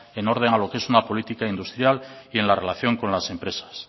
en orden a lo que es una política industrial y en la relación con las empresas